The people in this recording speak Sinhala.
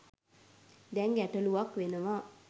දැන් ගැටලුවක් වෙනවා